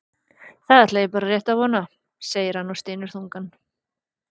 Það ætla ég bara rétt að vona, segir hann og stynur þungan.